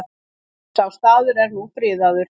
Sá staður er nú friðaður.